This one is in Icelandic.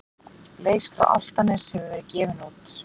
Leikskrá Álftaness hefur verið gefin út.